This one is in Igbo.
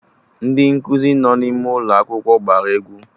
Ndị nkụzi nọ n'ime ụlọ akwụkwọ agba egwu